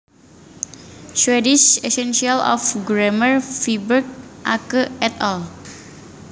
Swedish Essentials of Grammar Viberg Åke et al